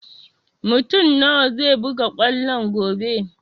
Mutun nawa zai buga kwallo gobe?